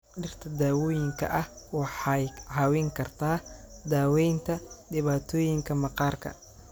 Dhirta daawooyinka ah waxay caawin kartaa daaweynta dhibaatooyinka maqaarka.